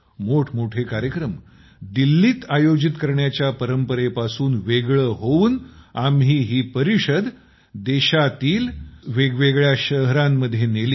मोठमोठे कार्यक्रम दिल्लीत आयोजित करण्याच्या परंपरेपासून वेगळं होऊन आपण ही परिषद देशातील ६० वेगवेगळ्या शहरांत नेली